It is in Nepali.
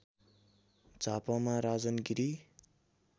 झापामा राजन गिरी